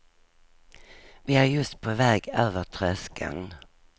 Vi är just på väg över tröskeln.